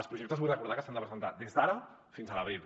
els projectes vull recordar que s’han de presentar des d’ara fins a l’abril